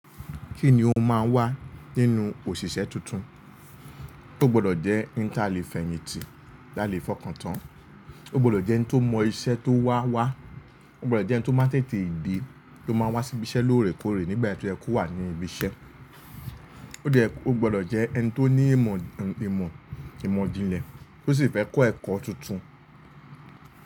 Kí ni o máa wá nínú òṣìṣẹ́ tuntun? Ó gbọdọ̀ jẹ́ eni ta lè fẹ̀yìntì, ta lè fọkàn tán. Ó gbọdọ̀ jẹ́ ẹni tó mọ iṣẹ́ tó wá wá. Ó gbọdọ̀ jẹ́ ẹni tó máa tètè de, tó máa n wá sí ibi iṣẹ́ lóòrèkóòrè nígbà tí o yẹ ko wà ní ibi iṣẹ́. Ó gbọdọ̀ jẹ́ ẹni tó ní ìmọ̀, ìmọ̀, ìmọ̀ ìjinlẹ̀ tó sì fẹ́ kọ́ ẹ̀kọ́ tuntun.